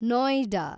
Noida